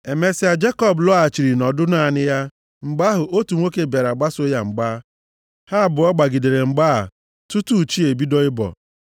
Emesịa, Jekọb lọghachiri nọdụ naanị ya. Mgbe ahụ, otu nwoke bịara gbaso ya mgba. Ha abụọ gbagidere mgba a tutu chi ebido ịbọ.